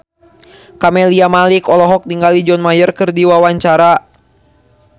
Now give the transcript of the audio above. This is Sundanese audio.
Camelia Malik olohok ningali John Mayer keur diwawancara